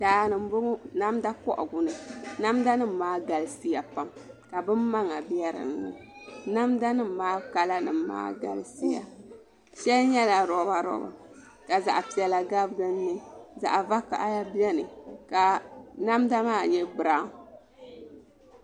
Daani n bɔŋɔ namda kohagu ni namda nim maa galisiya pam ka bin maŋa bɛ dinni namda nim maa kala nim maa galisiya shɛli nyɛla roba roba ka zaɣ piɛla gabi dinni zaɣ vakaɣali biɛni ka namda maa nyɛ biraawn